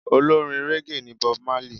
Olórin régè ni Bob Marley.